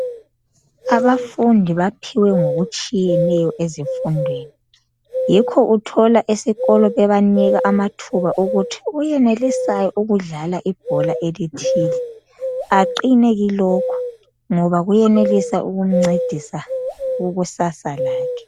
Abafundi baphiwe ngokutshiyeneyo ezifundweni yikho Uthola esikolo bebanila amathuba wokuthi oyenelisayo ukudlala ibhola elithile aqine kulokho ngoba kuyenelisa ukumcefisa kukusasa lakhe